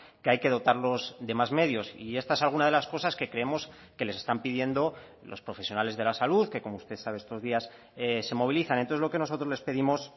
que hay que dotarlos de más medios y esta es alguna de las cosas que creemos que les están pidiendo los profesionales de la salud que como usted sabe estos días se movilizan entonces lo que nosotros les pedimos